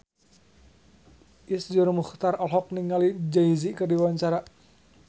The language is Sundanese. Iszur Muchtar olohok ningali Jay Z keur diwawancara